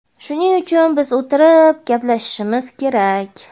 Shuning uchun biz o‘tirib gaplashishimiz kerak.